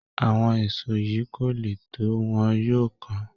Àwọn èsó yìí kò le tó, wọ́n yóò kán